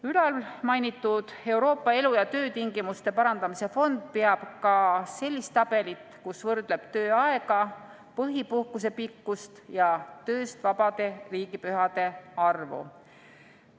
Ülalmainitud Euroopa elu- ja töötingimuste parandamise fond peab ka sellist tabelit, kus võrdleb tööaega, põhipuhkuse pikkust ja tööst vabade riigipühade arvu.